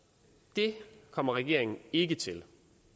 det kommer regeringen ikke til